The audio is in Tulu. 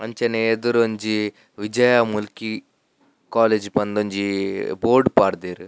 ಅಂಚನೆ ಎದುರೊಂಜಿ ವಿಜಯ ಮುಲ್ಕಿ ಕಾಲೇಜ್ ಪಂದ್ ಒಂಜಿ ಬೋರ್ಡ್ ಪಾಡ್ದೆರ್.